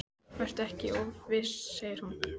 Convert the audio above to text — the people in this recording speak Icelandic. Vertu ekki of viss, segir hún.